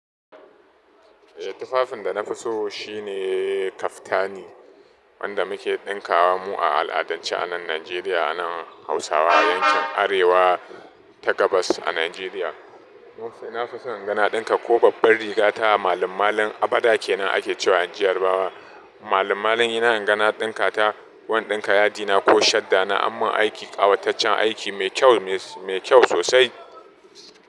Eh, tufafin da na fi so shine kaftani wanda muke ɗinka wa mu a al'adance a nan Najeriya, a nan Hausawa yankin Arewa ta Gabas a Najeriya. Na fi son ingana ɗinka ko babbar riga ta malin-malin, a bada kenan ake cewa inji yarbawa. Malin-malin dina inga na ɗinka ta, ko in ɗinka yadina ko shadda na, ammin aiki ƙawataccen aiki mai kyau, mai kyau sosai.